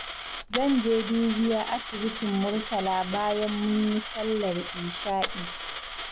Zan je dubiya asibitin Murtala bayan mun yi sallar isha'i.